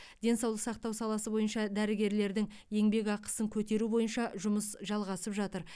денсаулық сақтау саласы бойынша дәрігерлердің еңбекақысын көтеру бойынша жұмыс жалғасып жатыр